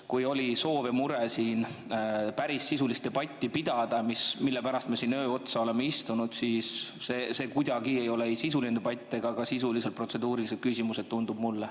Kui oli soov siin päris sisulist debatti pidada, mille pärast me siin öö otsa oleme istunud, siis see ei ole kuidagi sisuline debatt ja need ei ole ka sisulised protseduurilised küsimused, tundub mulle.